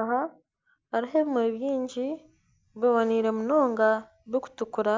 Aha hariho ebimuri byingi biboniire munonga birukutukura